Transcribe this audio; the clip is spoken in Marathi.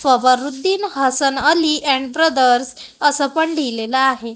फवरूद्दीन हसन अली अँड ब्रदर्स असं पण लिहिलेलं आहे.